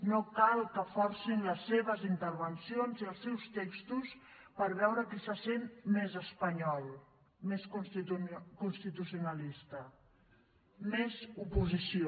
no cal que forcin les seves intervencions i els seus textos per veure qui se sent més espanyol més constitucionalista més oposició